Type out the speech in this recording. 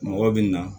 Mɔgɔw bɛ na